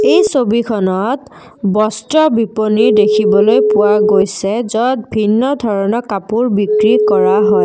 এই ছবিখনত বস্ত্ৰ বিপনী দেখিবলৈ পোৱা গৈছে য'ত ভিন্ন ধৰণৰ কাপোৰ বিক্ৰী কৰা হয়।